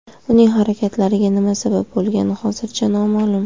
Uning harakatlariga nima sabab bo‘lgani hozircha noma’lum.